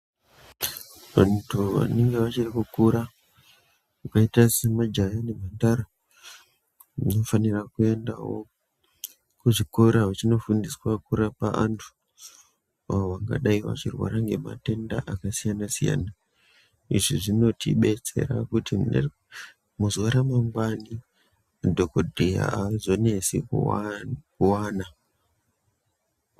Vantu vanenge vachiri kukura vakaite semajaha nemhandara vanofanire kuendawo kuzvikora veindoofundiswa kurapa antu avo vangadayi veirwara ngematenda akasiyana siyana. Izvi zvinotidetsera kuti muzuwa ramangwani madhokodheya aazonesi kuwana.